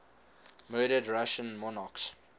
murdered russian monarchs